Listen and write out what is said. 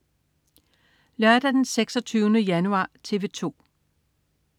Lørdag den 26. januar - TV 2: